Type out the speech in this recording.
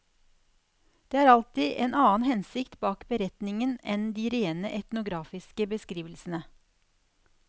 Det er alltid en annen hensikt bak beretningen enn de rene etnografiske beskrivelsene.